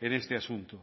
en este asunto